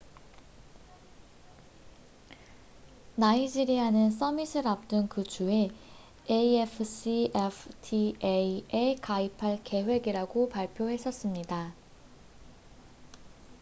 나이지리아는 써밋을 앞둔 그 주에 afcfta에 가입할 계획이라고 발표했었습니다